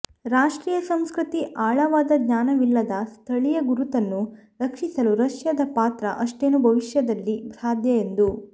ರಾಷ್ಟ್ರೀಯ ಸಂಸ್ಕೃತಿ ಆಳವಾದ ಜ್ಞಾನವಿಲ್ಲದ ಸ್ಥಳೀಯ ಗುರುತನ್ನು ರಕ್ಷಿಸಲು ರಷ್ಯಾದ ಪಾತ್ರ ಅಷ್ಟೇನೂ ಭವಿಷ್ಯದಲ್ಲಿ ಸಾಧ್ಯ ಎಂದು